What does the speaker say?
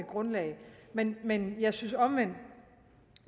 grundlag men men jeg synes omvendt